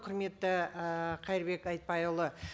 құрметті і қайырбек айтбайұлы